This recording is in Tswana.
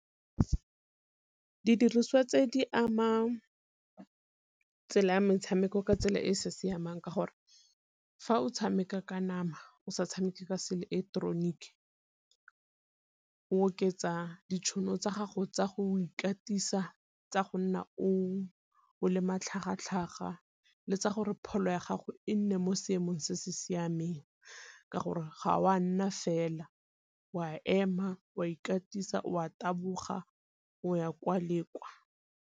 Didiriswa tse di ama tsela ya metshameko ka tsela e e sa siamang ka gore, fa o tshameka ka nama o sa tshameke se ileketeroniki o oketsa ditšhono tsa gago tsa go ikatisa tsa go nna o le matlhagatlhaga, le tsa gore pholo ya gago e nne mo seemong se se siameng ka gore ga o a nna fela o a ema, o a ikatisa, o a taboga, o ya kwa le kwa.